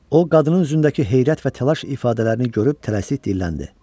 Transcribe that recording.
O qadının üzündəki heyrət və təlaş ifadələrini görüb tələsik dilləndi.